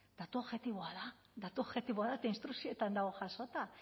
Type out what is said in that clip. datu objektiboa da datu objektiboa da eta instrukzioetan dago jasota